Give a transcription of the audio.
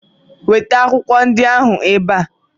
Weta akwụkwọ ndị ahụ ebe a!